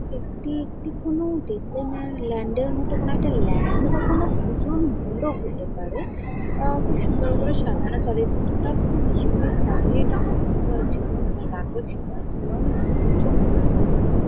একটি একটি কোন ডিজনিল্যান্ড মত কোন একটা ল্যান্ড কোনো পুজোর মন্ডল হতে পারে | খুব সুন্দর করে সাজানো চারি দিকটা খুব ইউনিক ভাবে | এটা অন্ধকার ও ছিল মানে রাতের সময় ছিল অনেক লোক জন আছে চারি দিকে |